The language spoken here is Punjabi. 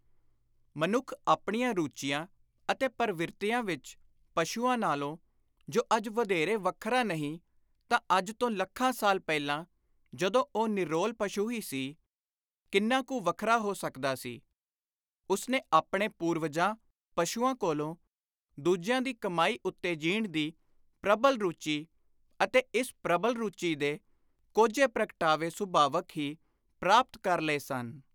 ਮਨੁੱਖ ਆਪਣੀਆਂ ਰੁਚੀਆਂ ਅਤੇ ਪਰਵਿਰਤੀਆਂ ਵਿਚ ਪਸ਼ੂਆਂ ਨਾਲੋਂ , ਜੋ ਅੱਜ ਵਧੋਰੇ ਵੱਖਰਾ ਨਹੀਂ ਤਾਂ ਅੱਜ ਤੋਂ ਲੱਖਾਂ ਸਾਲ ਪਹਿਲਾਂ ਜਦੋਂ ਉਹ ਨਿਰੋਲ ਪਸ਼ੂ ਹੀ ਸੀ, ਕਿੰਨਾ ਕੁ ਵੱਖਰਾ ਹੋ ਸਕਦਾ ਸੀ ! ਉਸਨੇ ਆਪਣੇ ਪੁਰਵਜਾਂ (ਪਸ਼ੂਆਂ) ਕੋਲੋਂ ਦੁਜਿਆਂ ਦੀ ਕਮਾਈ ਉੱਤੇ ਜੀਣ ਦੀ ਪ੍ਰਬਲ ਰੁਚੀ ਅਤੇ ਇਸ ਪ੍ਰਬਲ ਰੁਚੀ ਦੇ ਕੋਝੇ ਪ੍ਰਗਟਾਵੇ ਸੁਭਾਵਕ ਹੀ ਪ੍ਰਾਪਤ ਕਰ ਲਏ ਸਨ।